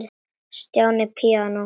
Stjáni píanó